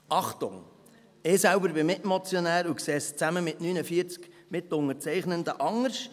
Achtung: Ich selbst bin Mitmotionär und sehe es zusammen mit 49 Mitunterzeichnenden anders: